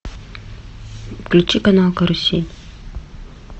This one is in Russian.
включи канал карусель